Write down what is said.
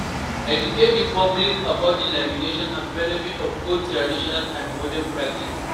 Educate di public about the limitations and benefits of both traditional and modern practice